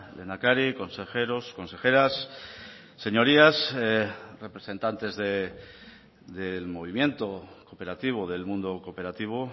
lehendakari consejeros consejeras señorías representantes del movimiento cooperativo del mundo cooperativo